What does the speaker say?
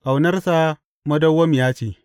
Ƙaunarsa madawwamiya ce.